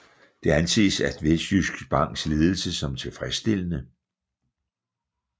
Det anses af Vestjysk Banks ledelse som tilfredsstillende